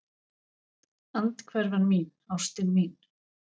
Andhverfan mín, ástin mín.